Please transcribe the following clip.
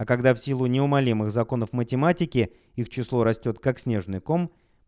а когда в силу неумолимых законов математики их число растёт как снежный ком